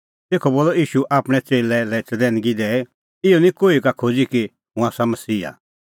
तेखअ बोलअ ईशू आपणैं च़ेल्लै लै चतैनगी दैई इहअ निं कोही का खोज़ी कि हुंह आसा मसीहा